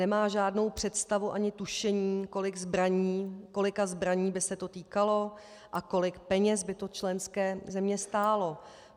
Nemá žádnou představu ani tušení, kolika zbraní by se to týkalo a kolik peněz by to členské země stálo.